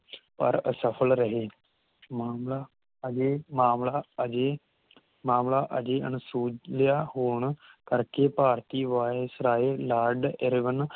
ਪਰ ਅਸਫਲ ਰਹੇ ਮਾਮਲਾ ਅਜੇ ਮਾਮਲਾ ਅਜੇ ਮਾਮਲਾ ਅਜੇ ਅਣਸੁਲਝਿਆ ਹੋਣ ਕਰਕੇ ਭਾਰਤੀ ਵਾਇਸ ਰਾਏ ਲਾਰਡ ਏਰੇਗੰਨ